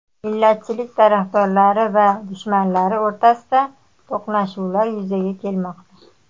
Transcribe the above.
Millatchilik tarafdorlari va dushmanlari o‘rtasida to‘qnashuvlar yuzaga kelmoqda.